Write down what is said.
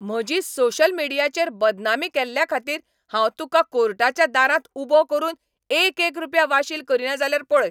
म्हजी सोशल मीडियाचेर बदनामी केल्ल्याखातीर हांव तुकां कोर्टाच्या दारांत उबो करून एकएक रुपया वाशील करीना जाल्यार पळय.